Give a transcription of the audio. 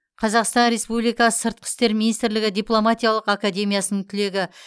қазақстан республикасы сыртқы істер министрлігі дипломатиялық академиясының түлегі